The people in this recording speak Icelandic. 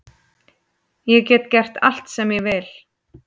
Ég get gert allt sem ég vil